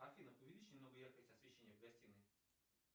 афина увеличь немного яркость освещения в гостиной